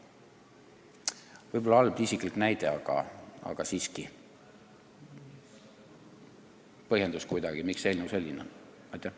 Võib-olla halb isiklik näide, aga siiski põhjendus, miks see eelnõu sellise sisuga on.